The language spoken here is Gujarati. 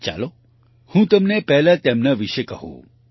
ચાલો હું તમને પહેલા તેમના વિશે કહું